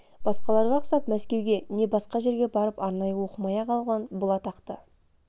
басқаларға ұқсап мәскеуге не басқа жерге барып арнайы оқымай-ақ алған бұл атақты